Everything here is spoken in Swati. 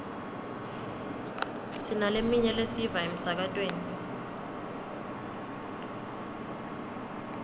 sinaleminye lesiyiva emsakatweni